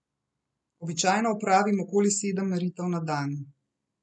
Običajno opravim okoli sedem meritev na dan.